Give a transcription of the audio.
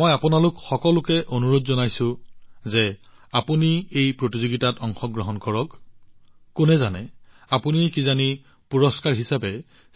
মই আপোনালোক সকলোকে অনুৰোধ জনাইছো যে আপোনালোকে এই প্ৰতিযোগিতাত অংশগ্ৰহণ কৰক কি ঠিক আপুনি হয়তো পুৰষ্কাৰ হিচাপে